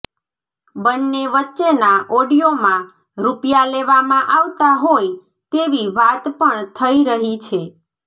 બન્ને વચ્ચેના ઓડિયોમાં રૂપિયા લેવામાં આવતા હોય તેવી વાત પણ થઈ રહી છે